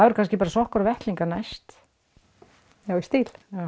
kannski bara sokkar og vettlingar næst já í stíl